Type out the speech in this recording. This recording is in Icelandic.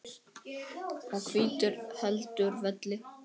og hvítur heldur velli.